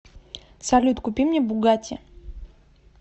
салют купи мне бугатти